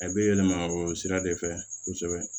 A bɛ yɛlɛma o sira de fɛ kosɛbɛ